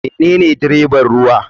Menene dreban ruwa.